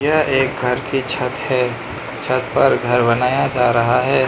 यह एक घर की छत है छत पर घर बनाया जा रहा है।